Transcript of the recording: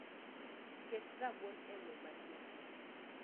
Ket rabuon e moo maliet